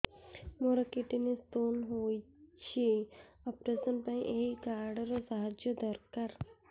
ମୋର kidney stone ହଇଛି operation ପାଇଁ ଏହି କାର୍ଡ ର ସାହାଯ୍ୟ ଦରକାର